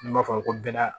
N'i b'a fɔ a ma ko bɛnda